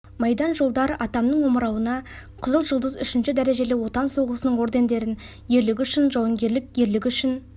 майдан жолдар атамның омырауына қызыл жұлдыз үшінші дәрежелі отан соғысының ордендерін ерлігі үшін жауынгерлік ерлігі үшін